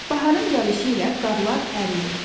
Baharın gəlişi ilə qarlar əriyir.